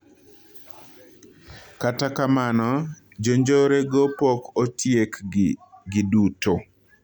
Kata kamano, jonjore go pok otiekgi giduto